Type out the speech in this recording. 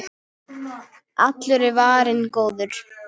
Allur er varinn góður.